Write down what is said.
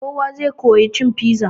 Kowa zai koya cin piza.